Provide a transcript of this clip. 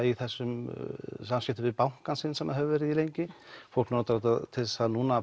í þessum samskiptum við bankann sinn sem það hefur verið í lengi fólk nota þetta núna